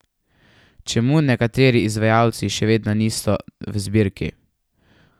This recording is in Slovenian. Čemu nekateri izvajalci še vedno niso v zbirki?